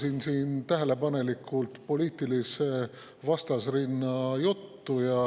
Kuulasin tähelepanelikult poliitilise vastasrinna juttu.